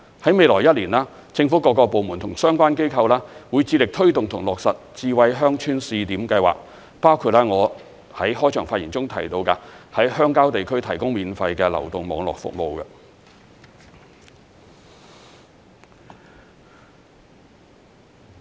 在未來一年，政府各個部門及相關機構會致力推動和落實智慧鄉村試點計劃，包括我在開場發言中提到，在鄉郊地區提供免費流動網絡服務。